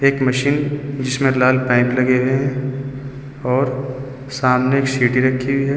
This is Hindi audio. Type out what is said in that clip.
एक मशीन जीसमें लाल पेंट लगे हैं और सामने सिट रखी है।